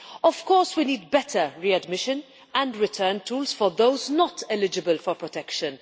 Of course we need better readmission and return tools for those not eligible for protection.